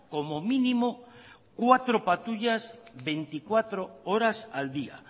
como mínimo cuatro patrullar veinticuatro horas al día